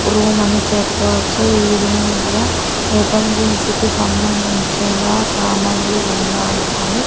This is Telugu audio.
రూమ్ అని చెప్పవచ్చు ఈ రూమ్ లో ఎపంజన్సీ కి సంబంధించిన సామాన్లు ఉన్నాయి అని--